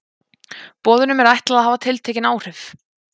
Boðunum er ætlað að hafa tiltekin áhrif.